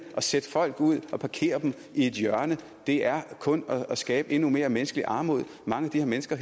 at sætte folk ud og parkere dem i et hjørne er kun at skabe endnu mere menneskeligt armod mange af de her mennesker